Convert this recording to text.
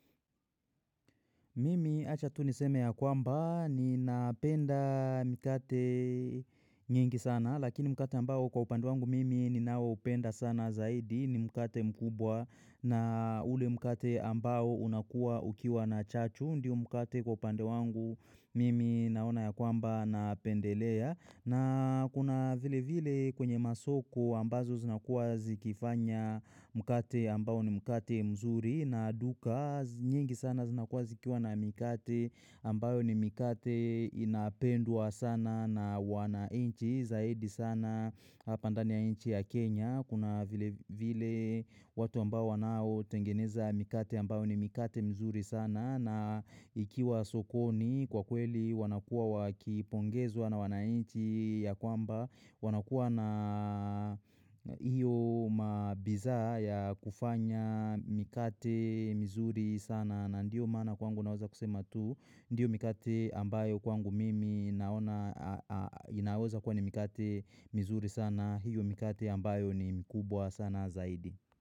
Mimi Acha tu niseme ya kwamba ni napenda mkate nyingi sana lakini mkate ambao kwa upande wangu mimi ninao upenda sana zaidi ni mkate mkubwa na ule mkate ambao unakua ukiwa na chachu ndiyo mkate kwa upande wangu mimi naona ya kwamba napendelea. Na kuna vile vile kwenye masoko ambazo zinakuwa zikifanya mkate ambayo ni mkate mzuri na duka nyingi sana zinakuwa zikiwa na mkate ambayo ni mkate inapwa sana na wanainchi zaidi sana Hapa ndani ya inchi ya Kenya. Kuna vile vile watu ambao wanao tengeneza mikate ambao ni mikate mzuri sana na ikiwa sokoni kwa kweli wanakua wakipongezwa na wanainchi ya kwamba wanakua na hiyo mabiza ya kufanya mikate mzuri sana na ndiyo maana kwangu naweza kusema tu. Ndiyo mikati ambayo kwangu mimi inaweza kwa ni mikate mizuri sana hiyo mikate ambayo ni mkubwa sana zaidi.